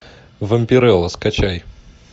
вампирелла скачай